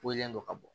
Kolen dɔ ka bɔ